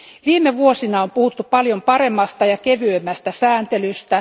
Viime vuosina on puhuttu paljon paremmasta ja kevyemmästä sääntelystä.